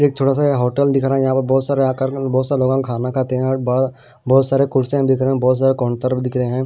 Hotel दिख रहा है यहां बहुत सारे आकर बहुत सारे लोग खाना खाते हैं और बड़ा बहुत सारे कुर्सियां दिख रहे हैं बहुत सारे काउंटर भी दिख रहे हैं।